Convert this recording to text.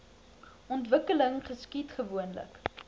ontwikkeling geskied gewoonlik